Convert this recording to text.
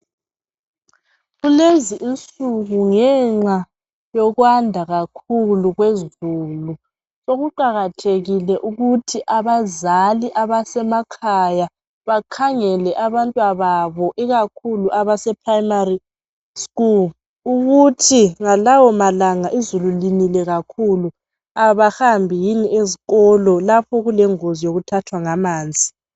kulezi insuku ngenxa yokwanda kakhulu kwezulu sokuqakathekile ukuthi abazali abasemakhaya bakhangele abantwana bbo ikakhulu abase primary school ukuthi ngalawo malanga izulu linile kakhulu abahambi yini ezikolo lapho kulengozi yokuthathwa ngamanzi